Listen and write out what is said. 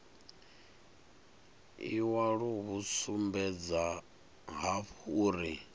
iwalo hu sumbedza hafhu uri